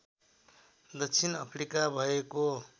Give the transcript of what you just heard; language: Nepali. दक्षिण अफ्रिका भएको